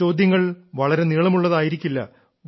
ആ ചോദ്യങ്ങൾ വളരെ നീളമുള്ളതായിരിക്കില്ല